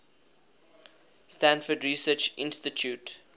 stanford research institute